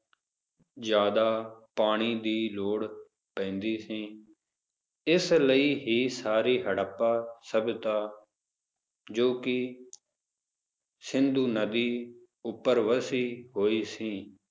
ਜ਼ਯਾਦਾ ਪਾਣੀ ਦੀ ਲੋੜ ਪੈਂਦੀ ਸੀ ਇਸ ਲਈ ਹੀ ਸਾਰੀ ਹੜੱਪਾ ਸਭਏਤਾ ਜੋ ਕੀ ਸਿੰਧੂ ਨਦੀ ਉੱਪਰ ਵਸੀ ਹੋਈ ਸੀ,